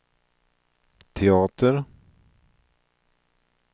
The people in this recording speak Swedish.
teater